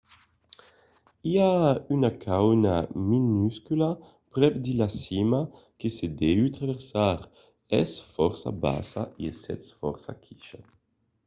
i a una cauna minuscula prèp de la cima que se deu traversar es fòrça bassa e i sètz fòrça quichat